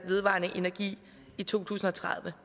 vedvarende energi i to tusind og tredive